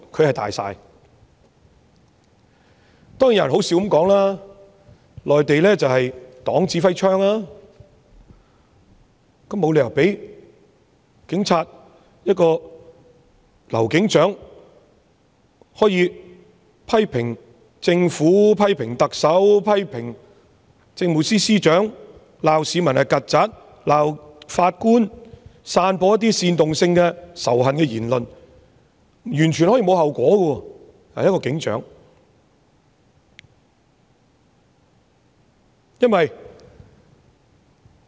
有人說笑地表示內地是黨指揮槍，但也沒理由讓警隊中一名劉姓警長可以肆意批評政府、批評特首、批評政務司司長，罵市民是"曱甴"、罵法官和散播一些煽動性仇恨言論而完全沒有後果。